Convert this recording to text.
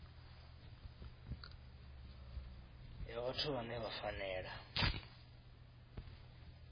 ya vhathu vhane vha fanela